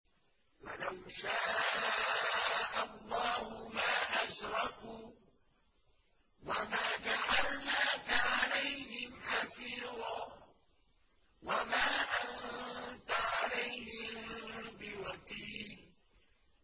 وَلَوْ شَاءَ اللَّهُ مَا أَشْرَكُوا ۗ وَمَا جَعَلْنَاكَ عَلَيْهِمْ حَفِيظًا ۖ وَمَا أَنتَ عَلَيْهِم بِوَكِيلٍ